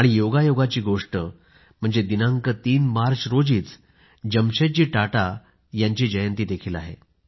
आणि योगायोगाची गोष्ट म्हणजे दिनांक 3 मार्च रोजीच जमशेदजी टाटा यांची जयंतीही आहे